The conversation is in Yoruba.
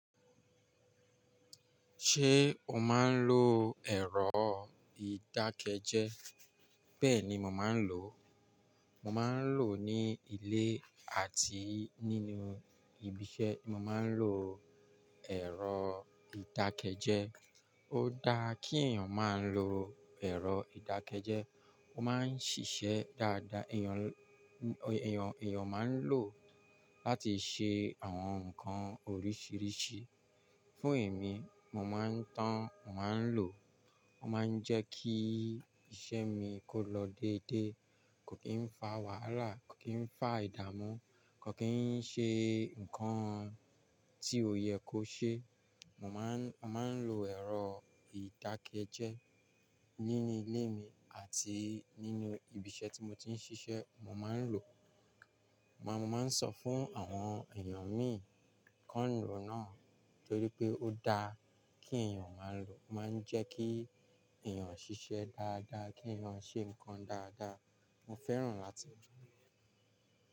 Ṣé o máa ń lo ẹ̀rọ ìdákẹ́jẹ́? Bẹ́ẹ̀ ni mo máa ń lò ó. Mo máa ń lò ó ní ilé àti nínú ibi iṣẹ́. Mo máa ń lo ẹ̀rọ ìdákẹ́jẹ́. Ó da kí èèyàn máa ń lo ẹ̀rọ ìdákẹ́jẹ́. Ó máa ń ṣiṣẹ́ dáadáa. Èèyàn, èèyàn, èèyàn máa ń lò ó láti ṣe àwọn nǹkan oríṣiríṣi. Fún èmi, mo máa ń tán, mo máa ń lò ó. Ó máa ń jẹ́ kí iṣẹ́ mi kó lọ déédéé, kò kí ń fa wàhálà, kò kí ń fa ìdààmú, kò kí ń ṣe nǹkan tí ò yẹ kó ṣe. Mo máa ń, mo máa ń lo ẹ̀rọ ìdákẹ́jẹ́ nínú ilé mi àti nínú ibi isẹ́ tí mo ti ń ṣiṣẹ́. Mo máa ń lò ó. Mo máa ń sọ fún àwọn èèyàn mi kí wọ́n lò náà torí pé ó da kí èèyàn máa lò ó. Ó máa ń jẹ́ kí èèyàn ṣiṣẹ́ dáadáa, kí èèyàn ṣe nǹkan dáadáa. Mo fẹ́ràn láti lò ó.